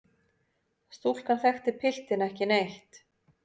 Stúlkan þekkti piltinn ekki neitt.